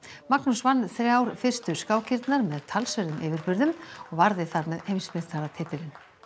Magnús vann þrjár fyrstu skákirnar með talsverðum yfirburðum og varði þar með heimsmeistaratitil